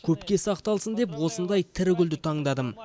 көпке сақталсын деп осындай тірі гүлді таңдадым